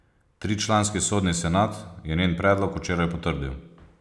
Tričlanski sodni senat je njen predlog včeraj potrdil.